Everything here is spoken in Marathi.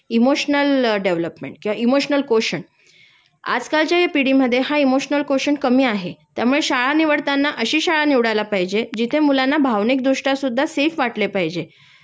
इमोशनल डेव्हलोपमेंट किंवा इमोशनल कोशंट, आजकालच्या या पिढीमधे हा इमोशनल कोशंट कमी आहे त्यामुळे शाळा निवडताना अशी शाळा निवडायला पाहिजे जिथे मुलांना भावनिक दृष्टया सुद्धा सेफ वाटले पाहिजे